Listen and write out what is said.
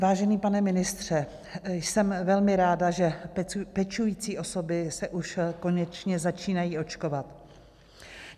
Vážený pane ministře, jsem velmi ráda, že pečující osoby se už konečně začínají očkovat.